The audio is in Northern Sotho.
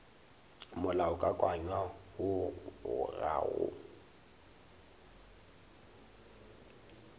molaokakanywa woo o ga o